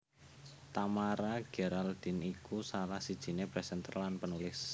Tamara Geraldine iku salah sijiné presenter lan penulis